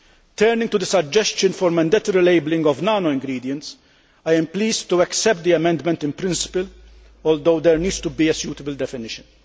Turning to the suggestion for mandatory labelling of nano ingredients, I am pleased to accept the amendment in principle, although there needs to be a suitable definition.